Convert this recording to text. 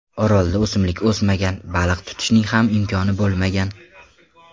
Orolda o‘simlik o‘smagan, baliq tutishning ham imkoni bo‘lmagan.